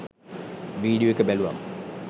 video එක බැලුවම